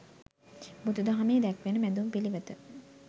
බුදු දහමේ දැක්වෙන මැදුම් පිළිවෙත